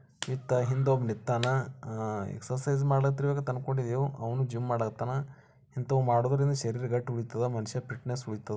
ಹಿತ ಹಿಂದೆ ಒಬ್ಬ ನಿತ್ತಾನ ಎಕ್ಸೈಸ್ ಮಾಡ್ತಾನಂತ ಅಂದ್ಕೊಂಡಿವು ಅವ್ನು ಜೆಮ್ ಮಾಡಕಾತ್ನಾ. ಇಂತವು ಮಾಡಿದರೆ ಗಂಟ್ ಉಳಿತದ ಮನುಷ್ಯ ಫಿಟ್ನೆಸ್ ಉಳಿತವು.